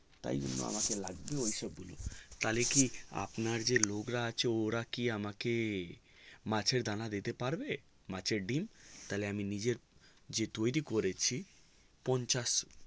তাই জন্য আমাকে লাগবে ঐসব গুলো তালে কি আপনার যে লোক রা আছে ওরা কি আমাকে মাছের দানা দিতে পারবে মাছের ডিম তালে আমি যে নিজে তৌরি করেছি পঞ্চাশ